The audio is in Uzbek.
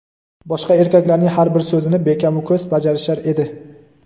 boshqa erkaklarning har bir so‘zini bekamu ko‘st bajarishar edi.